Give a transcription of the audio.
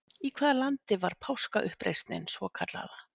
Í hvaða landi var Páskauppreisnin svokallaða?